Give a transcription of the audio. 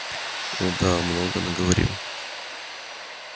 о да много наговорил